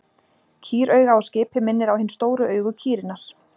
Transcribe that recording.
Kýrauga á skipi minnir á hin stóru augu kýrinnar.